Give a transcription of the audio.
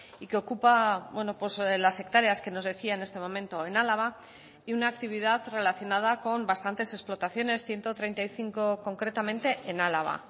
y que ocupa las hectáreas que nos decía en este momento en álava y una actividad relacionada con bastantes explotaciones ciento treinta y cinco concretamente en álava